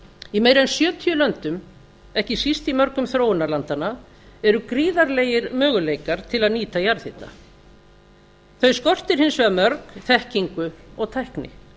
í meira en sjötíu löndum ekki síst í mörgum þróunarlandanna eru gríðarlegir möguleikar til að nýta jarðhitann þau skortir hins vegar mörg þekkingu og tækni